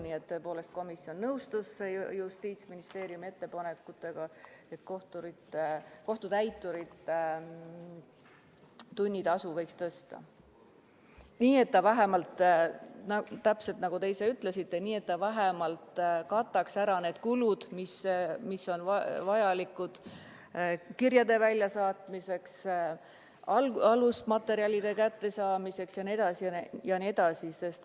Nii et tõepoolest komisjon nõustus Justiitsministeeriumi ettepanekuga kohtutäiturite tunnitasu tõsta nii, et see vähemalt –täpselt nagu te ütlesite – kataks ära need kulud, mis on vajalikud kirjade väljasaatmiseks, alusmaterjalide kättesaamiseks jne.